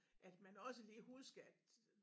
At man også lige huske at